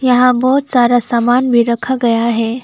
यहां बहुत सारा सामान भी रखा गया है।